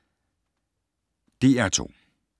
DR2